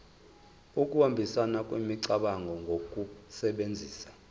ukuhambisana kwemicabango ngokusebenzisa